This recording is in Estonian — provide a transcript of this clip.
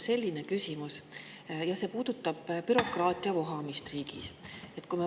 Minul on küsimus, mis puudutab bürokraatia vohamist riigis.